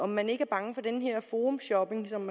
man ikke bange for den her forumshopping som